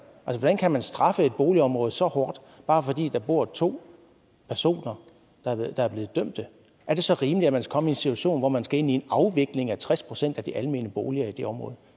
hvordan kan man straffe et boligområde så hårdt bare fordi der bor to personer der er blevet dømt er det så rimeligt at man skal komme i en situation hvor man skal ind i en afvikling af tres procent af de almene boliger i det område